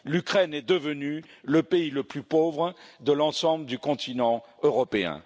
L'Ukraine est devenue le pays le plus pauvre de l'ensemble du continent européen.